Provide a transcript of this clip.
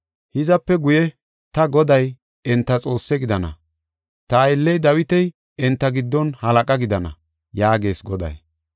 Hizape guye ta Goday enta Xoossaa gidana; ta aylley Dawiti enta giddon halaqa gidana” yaagees Goday.